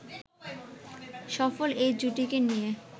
সফল এই জুটিকে নিয়ে